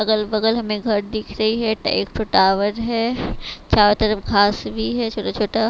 अगल बगल हमें घर दिख रही है ट एक ठो टावर है चारों तरफ घास भी है छोटा छोटा।